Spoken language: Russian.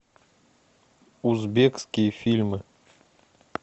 узбекские фильмы